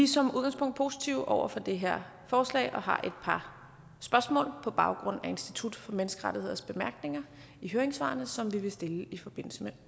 som udgangspunkt positive over for det her forslag og har et par spørgsmål på baggrund af institut for menneskerettigheders bemærkninger i høringssvarene som vi vil stille i forbindelse med